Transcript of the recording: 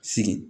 Sigi